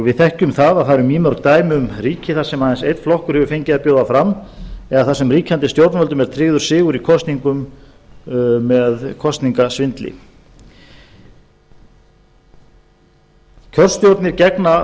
við verkum það að það eru mýmörg dæmi um ríki þar sem aðeins einn flokkur hefur fengið að bjóða fram eða þar sem ríkjandi stjórnvöldum er tryggður sigur í kosningum með kosningasvindli kjörstjórnir gegna